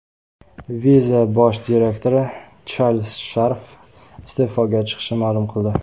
Visa bosh direktori Charlz Sharf iste’foga chiqishini ma’lum qildi.